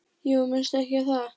Jú, minnstu ekki á það.